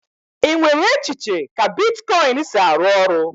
Ị nwere echiche ka bitkọịn si arụ ọrụ?